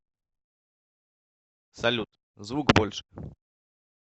салют звук больше